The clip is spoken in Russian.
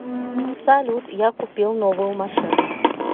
салют я купил новую машину